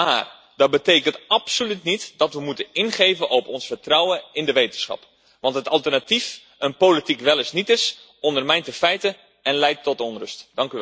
Maar dat betekent absoluut niet dat we moeten ingeven op ons vertrouwen in de wetenschap. Want het alternatief, een politiek welles nietes, ondermijnt de feiten en leidt tot onrust.